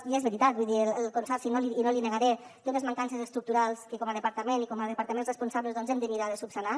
i és veritat vull dir el consorci i no l’hi negaré té unes mancances estructurals que com a departament i com a departaments responsables doncs hem de mirar de solucionar